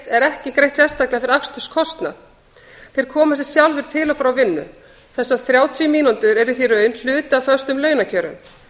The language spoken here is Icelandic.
er greitt sérstaklega fyrir aksturskostnað þeir koma sér sjálfir til og frá vinnu þessar þrjátíu mínútur eru því í raun hluti af föstum launakjörum